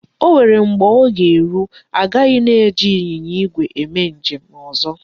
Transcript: O nwere mgbe ọ ga-eru, agaghị ana eji ịnyịnya igwe eme njem ọzọ.